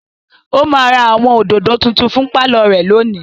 Ó máa ra àwọn òdòdó tuntun fún pálọ̀ rẹ̀ lónìí.